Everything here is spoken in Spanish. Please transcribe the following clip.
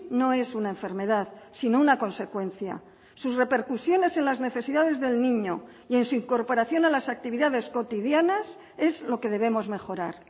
no es una enfermedad sino una consecuencia sus repercusiones en las necesidades del niño y en su incorporación a las actividades cotidianas es lo que debemos mejorar